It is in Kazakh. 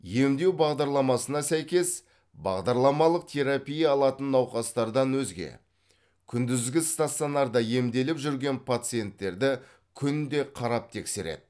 емдеу бағдарламасына сәйкес бағдарламалық терапия алатын науқастардан өзге күндізгі стационарда емделіп жүрген пациенттерді күнде қарап тексереді